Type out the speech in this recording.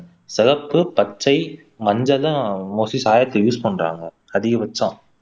சிகப்பு, பச்சை, மஞ்சள் தான் மோஸ்ட்லி சாயத்துக்கு யூஸ் பண்றாங்க அதிகபட்சம்